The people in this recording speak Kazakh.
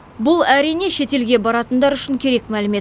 бұл әрине шетелге баратындар үшін керек мәлімет